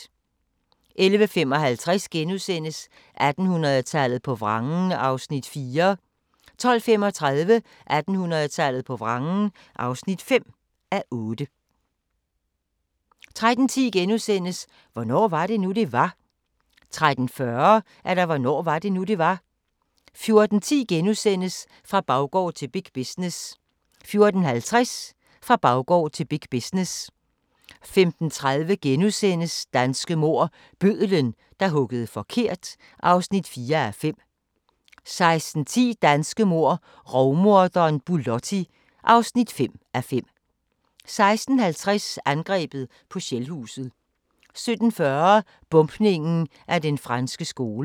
11:55: 1800-tallet på vrangen (4:8)* 12:35: 1800-tallet på vrangen (5:8) 13:10: Hvornår var det nu, det var? * 13:40: Hvornår var det nu, det var? 14:10: Fra baggård til big business * 14:50: Fra baggård til big business 15:30: Danske mord - Bødlen, der huggede forkert (4:5)* 16:10: Danske mord - Rovmorderen Bulotti (5:5) 16:50: Angrebet på Shellhuset 17:40: Bombningen af Den Franske Skole